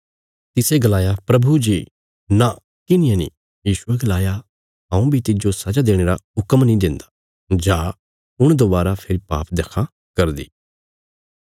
तिसे गलाया प्रभु जी नां किन्हिये नीं यीशुये गलाया हऊँ बी तिज्जो सजा देणे रा हुक्म नीं देन्दा जा हुण दोबारा फेरी पाप देक्खां करदी